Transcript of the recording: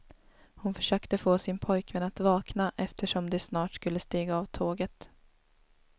Hon försökte få sin pojkvän att vakna eftersom de snart skulle stiga av tåget.